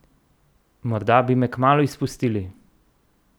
Morda bi me kmalu izpustili!